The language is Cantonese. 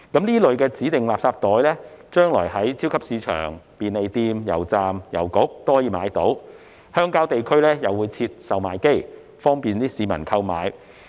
這類指定垃圾袋將來可以在超級市場、便利店、油站和郵局購買，鄉郊地區亦會設置售賣機，方便市民購買。